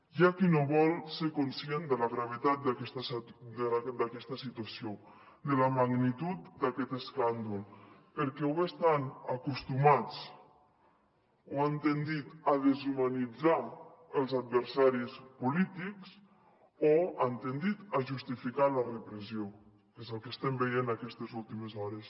hi ha qui no vol ser conscient de la gravetat d’aquesta situació de la magnitud d’aquest escàndol perquè o bé estan acostumats o han tendit a deshumanitzar els adversaris polítics o han tendit a justificar la repressió que és el que estem veient aquestes últimes hores